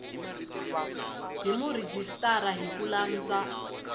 hi murhijisitara hi ku landza